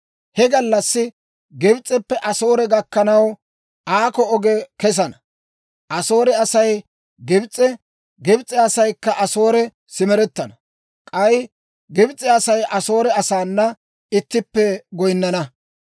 He gallassi Gibs'eppe Asoore gakkanaw aakko oge kesana; Asoore Asay Gibs'e, Gibs'e asaykka Asoore simerettana; k'ay Gibs'e Asay Asoore asaana ittippe goyinnana.